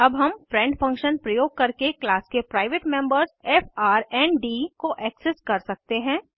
अब हम friend function प्रयोग करके क्लास के प्राइवेट मेम्बर्स फ्रंड को एक्सेस कर सकते हैं